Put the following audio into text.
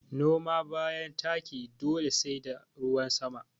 Noma bayan taki dole sai da ruwan sama